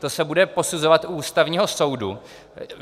To se bude posuzovat u Ústavního soudu.